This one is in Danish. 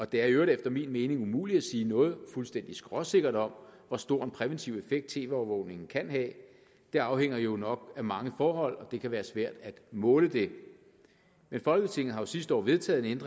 det er i øvrigt efter min mening umuligt at sige noget fuldstændig skråsikkert om hvor stor en præventiv effekt tv overvågning kan have det afhænger jo nok af mange forhold og det kan være svært at måle det folketinget har sidste år vedtaget en